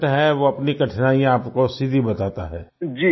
और जो पेशेंट है वो अपनी कठिनाईयाँ आपको सीधी बताता है